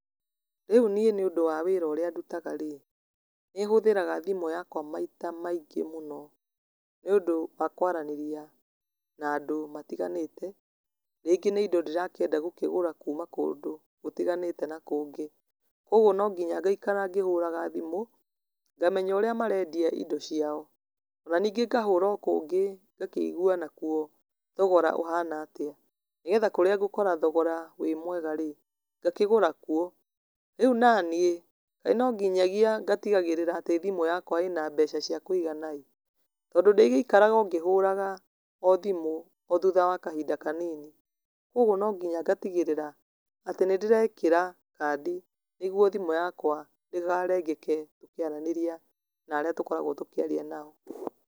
Rĩu niĩ nĩ ũndũ wa wĩra ũrĩa ndutaga rĩ, nĩ hũthĩraga thimũ yakwa maita maingĩ mũno, nĩ ũndũ wa kwaranĩria na andũ matiganĩte, rĩngĩ nĩ indo ndĩrakĩenda gũkĩgũra kuuma kũndũ gũtiganĩte na kũngĩ, kwoguo no nginya ngaikara ngĩhũraga thimũ, ngamenya ũrĩa marendia indo ciao, na ningĩ ngahũra o kũngĩ ngakĩigwa nakuo thogora ũhana atĩa, nĩgetha kũrĩa ngũkora thogora wĩ mwega rĩ, ngakĩgũra kuo, rĩu naniĩ, kaĩ no nginyagia ngatigagĩrĩra thimũ yakwa ĩna mbeca cia kũigana ĩ, tondũ ndĩgĩikaraga ngĩhũra o thimũ o thutha wa kahinda kanini, kwoguo no nginya ngatigĩrĩra atĩ nĩ ndĩrekĩra kandi nĩguo thimũ yakwa ndĩkarengeke, tũkĩaranĩria narĩa tũkoragwo tũkĩaria nao.